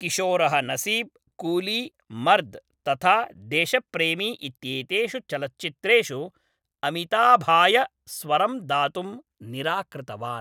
किशोरः नसीब, कूली, मर्द तथा देशप्रेमी इत्येतेषु चलच्चित्रेषु अमिताभाय स्वरं दातुं निराकृतवान्।